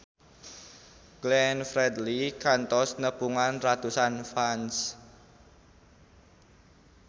Glenn Fredly kantos nepungan ratusan fans